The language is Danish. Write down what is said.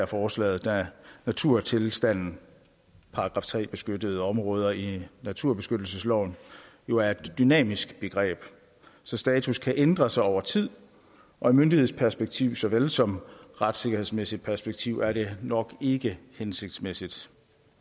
forslaget da naturtilstanden § tre beskyttede områder i naturbeskyttelsesloven jo er et dynamisk begreb så status kan ændre sig over tid og i myndighedsperspektiv såvel som retssikkerhedsmæssigt perspektiv er det nok ikke hensigtsmæssigt